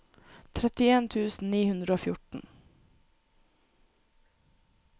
trettien tusen ni hundre og fjorten